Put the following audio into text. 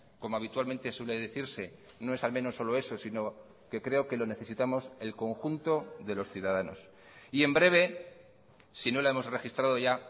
como habitualmente suele decirse no es al menos solo eso sino que creo que lo necesitamos el conjunto de los ciudadanos y en breve sino la hemos registrado ya